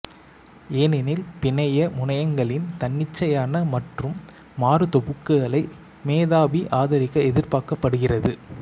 ஏனெனில் பிணைய முனையங்களின் தன்னிச்சையான மற்றும் மாறும் தொகுப்புகளை மெ த பி ஆதரிக்க எதிர்பார்க்கப்படுகிறது